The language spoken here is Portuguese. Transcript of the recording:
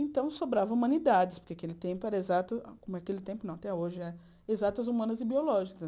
Então, sobrava humanidades, porque naquele tempo eram exatas naquele tempo não até hoje é exatas humanas e biológicas.